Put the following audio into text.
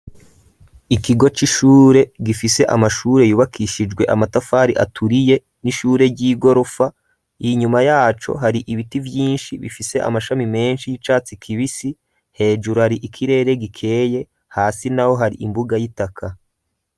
Ikigo c'ishure, gifise amashure, yubakishijwe, amatafari aturiye, n'ishure ry'igorofa; inyuma yaco, hari ibiti vyinshi, bifise amashami menshi, y'icatsi kibisi; hejuru, hari ikirere gikeye, hasi naho, hari imbuga y'itaka.